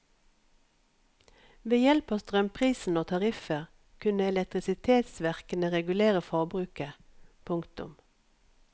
Ved hjelp av strømprisen og tariffer kunne elektrisitetsverkene regulere forbruket. punktum